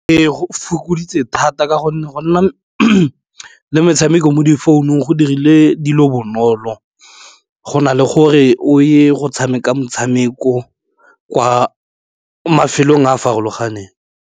Ee, go fokoditse thata ka gonne go nna le metshameko mo difounung go dirile dilo bonolo go na le gore o ye go tshameka motshameko kwa mafelong a farologaneng.